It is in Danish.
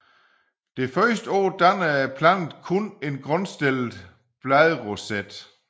Det første år danner planten kun en grundstillet bladroset